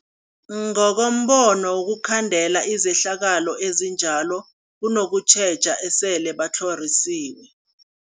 Ngokombono wokhandela izehlakalo ezinjalo kunokutjheja esele batlhorisiwe.